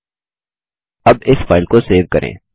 अब इस फाइल को सेव करें